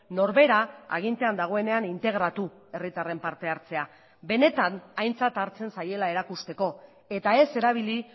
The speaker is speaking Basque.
norbera agintean dagoenean integratu herritarren parte hartzea benetan aintzat hartzen zaiela erakusteko eta ez erabili